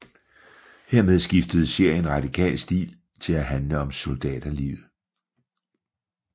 Hermed skiftede serien radikalt stil til at handle om soldaterlivet